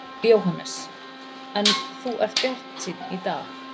Jóhannes: En þú ert bjartsýnn í dag?